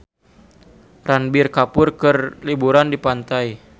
Ranbir Kapoor keur liburan di pantai